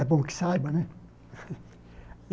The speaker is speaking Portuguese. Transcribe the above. É bom que saiba, né?